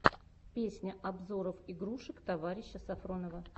песня обзоров игрушек товарища сафронова